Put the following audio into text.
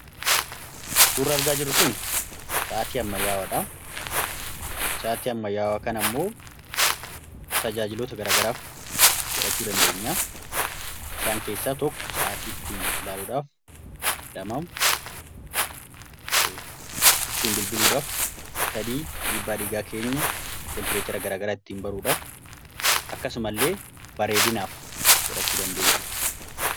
Suurri argaa jiru kun, sa’aatti ammayyaawaadha ,yookin immoo tajaajilota garaagaraaf godhachuu dandeenya. Isaan keessaa tokko, sa’aatii ittiin ilaaluudhaaf, bilbila ittiin bilbiluudhaaf, dhiibbaa dhiigaa keenya, teempireechara garaa garaa ittiin baruudhaaf akkasuma illee bareedinaaf godhachuu dandeenya.